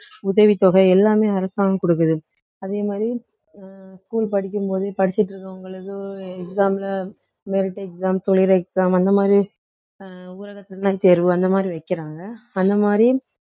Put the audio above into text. உதவித்தொகை எல்லாமே அரசாங்கம் கொடுக்குது அதே மாதிரி அஹ் school படிக்கும்போது படிச்சுட்டு இருக்குறவங்களுக்கு exam ல merit exam exam அந்த மாதிரி அஹ் தேர்வு அந்த மாதிரி வைக்கிறாங்க அந்த மாதிரி